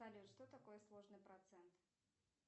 салют что такое сложный процент